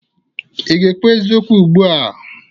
Ị ga-ekwu eziokwu ugbu a?